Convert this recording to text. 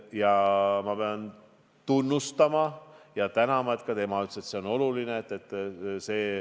Ja ma pean teda tunnustama ja talle aitäh ütlema, et ka tema ütles, et see on oluline.